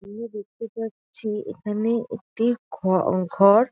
দূরে দেখতে পাচ্ছি এখানে একটি ঘ ঘর।